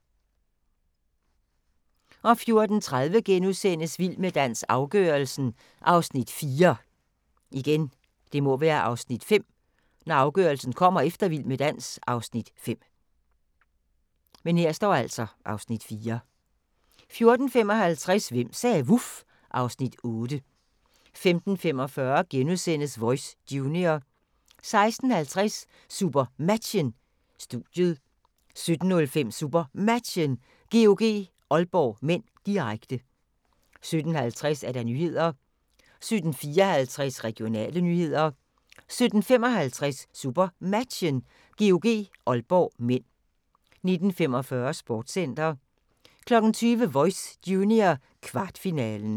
14:30: Vild med dans – afgørelsen (Afs. 4)* 14:55: Hvem sagde vuf? (Afs. 8) 15:45: Voice Junior * 16:50: SuperMatchen: Studiet 17:05: SuperMatchen: GOG-Aalborg (m), direkte 17:50: Nyhederne 17:54: Regionale nyheder 17:55: SuperMatchen: GOG-Aalborg (m) 19:45: Sportscenter 20:00: Voice Junior, kvartfinalen